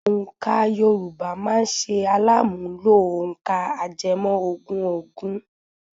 Òǹkà Yorùbá máa ṣe alàmúnlò òǹkà ajẹmọ́ ogún ogún.